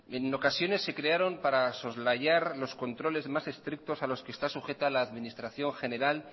en ocasiones se crearon para soslayar los controles más estrictos a los que está sujeta la administración general